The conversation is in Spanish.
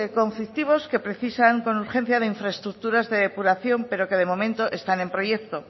conflictivos que precisan con urgencia de infraestructuras de depuración pero que de momento están en proyecto